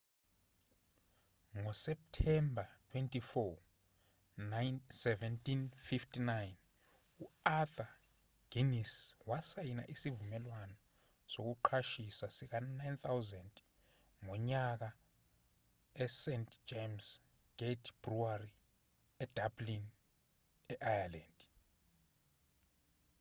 ngoseptemba 24 1759 u-arthur guinness wasayina isivumelwano sokuqashisa sika-9,000 ngonyaka sest james' gate brewery edublin e-ireland